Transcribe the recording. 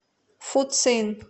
фуцин